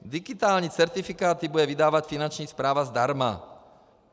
Digitální certifikáty bude vydávat Finanční správa zdarma.